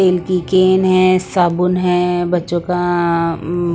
तेल की केन हैं साबुन हैं बच्चों का अ उम --